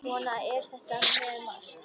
Svona er þetta með margt.